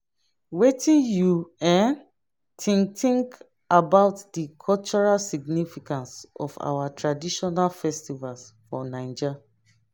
wetin you um think think about di cultural significance of our traditional festivals for naija?